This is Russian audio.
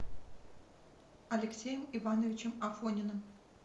алексеем ивановичем афониным